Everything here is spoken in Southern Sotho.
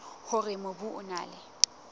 hore mobu o na le